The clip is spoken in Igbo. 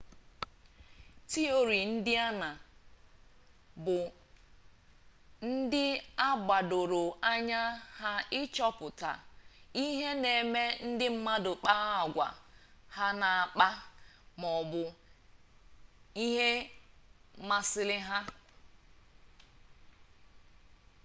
tiori ndịna bụ ndị a gbadoro anya ha ịchọta ihe na-eme ndị mmadụ kpaa agwa ha na-akpa ma ọ bụ ihe na-amasị ha